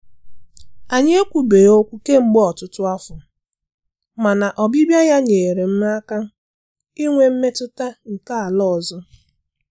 Anyị ekwubeghị okwu kemgbe ọtụtụ afọ, mana ọbịbịa ya nyeere m aka inwe mmetụta nke ala ọzọ.